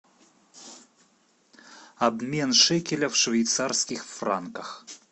обмен шекеля в швейцарских франках